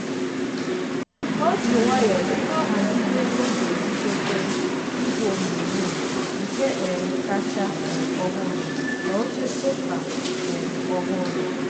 o ji nwayọọ bido ghazibe ego ọ ga eji gote igwe onyonyo nke um kacha um ọhụrụ ma oche sofa um ọhụrụ.